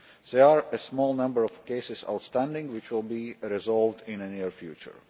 There is a small number of cases outstanding, which will be resolved in a near future.